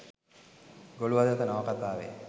ගොළු හදවත නවකතාවේ